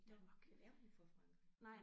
Nåh men er hun fra Frankrig?